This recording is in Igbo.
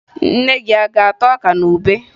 Nne gị a ga-ata ọka na ube?